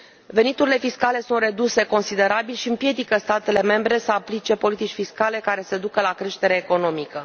Veniturile fiscale sunt reduse considerabil și împiedică statele membre să aplice politici fiscale care să ducă la creșterea economică.